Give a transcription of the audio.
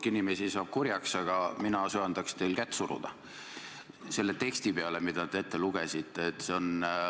Hulk inimesi saab kurjaks, aga mina söandaks teil kätt suruda selle teksti peale, mis te ette lugesite.